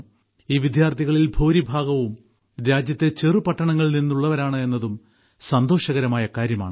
ഈ വിദ്യാർത്ഥികളിൽ ഭൂരിഭാഗവും രാജ്യത്തെ ചെറുപട്ടണങ്ങളിൽ നിന്നുള്ളവരാണ് എന്നതും സന്തോഷകരമായ കാര്യമാണ്